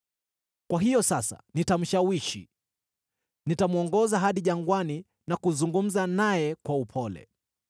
“Kwa hiyo sasa nitamshawishi; nitamwongoza hadi jangwani na kuzungumza naye kwa upole.